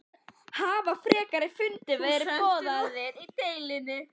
Hafa frekari fundir verið boðaðir í deilunni?